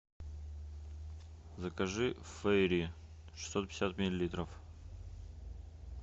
закажи фейри шестьсот пятьдесят миллилитров